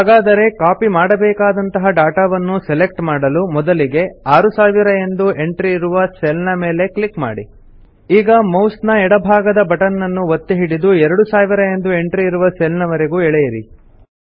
ಹಾಗಾದರೆ ಕಾಪಿ ಮಾಡಬೇಕಾದಂತಹ ಡಾಟಾ ವನ್ನು ಸೆಲೆಕ್ಟ್ ಮಾಡಲು ಮೊದಲಿಗೆ 6000 ಎಂದು ಎಂಟ್ರಿ ಇರುವ ಸೆಲ್ ನ ಮೇಲೆ ಕ್ಲಿಕ್ ಮಾಡಿ ಈಗ ಮೌಸ್ ನ ಎಡ ಭಾಗದ ಬಟನ್ ನನ್ನು ಒತ್ತಿ ಹಿಡಿದು 2000 ಎಂದು ಎಂಟ್ರಿ ಇರುವ ಸೆಲ್ ನ ವರೆಗೂ ಎಳೆಯಿರಿ